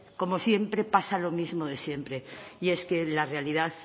como siempre pasa lo mismo de siempre y es que la realidad